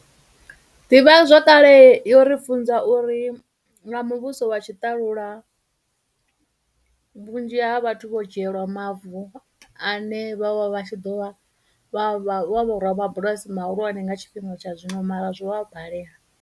Ḓivhazwakale yo ri funza uri na muvhuso wa tshiṱalula vhunzhi ha vhathu vho dzhielwa mavu ane vho vha vha tshi ḓo vha vha, vha vho rabulasi mahulwane nga tshifhinga tsha zwino, mara zwo vha balela.